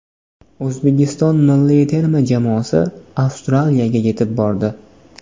O‘zbekiston milliy terma jamoasi Avstraliyaga yetib bordi.